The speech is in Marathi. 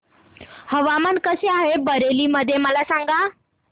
हवामान कसे आहे बरेली मध्ये मला सांगा